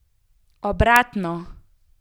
Obratno!